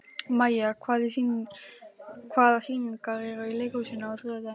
Maj, hvaða sýningar eru í leikhúsinu á þriðjudaginn?